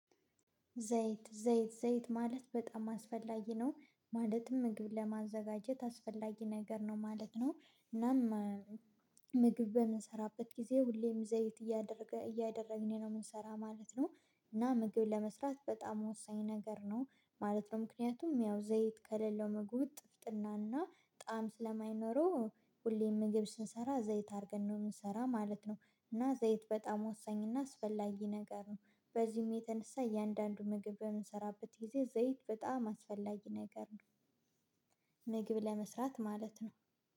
ዘይት ዘይት ዘይት ማለት በጣም አስፈላጊ ነው። ማለትም ምግብ ለማዘጋጀት አስፈላጊ ነገር ነው ማለት ነው፤ እናም ምግብ በምንሰራበት ጊዜ ሁሌም ዘይት እያደረገ እያደረግን ነው የምንሰራው ማለት ነው፤ እና ምግብ ለመስራት በጣም ወሳኝ ነገር ነው ማለት ነው። ምክንያቱም ያው ዘይት ከሌለው መግቡ ጥፍጥናና ጣዕም ስለማይኖረው ሁሌም ምግብ ስንሰራ ዘይት አድርገን ነው የምሰራ ማለት ነው። እና ዘይት በጣም ወሳኝ እና አስፈላጊ ነገር ነው። በዚህም የተነሳ እያንዳንዱ ምግብ በምንሰራበት ጊዜ ዘይት በጣም አስፈላጊ ነገር ነው፤ ምግብ ለመስራት ማለት ነው።